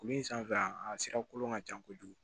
Kuru in sanfɛla a sira kolon ka ca kojugu